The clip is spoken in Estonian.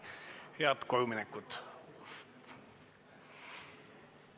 Head kojuminekut!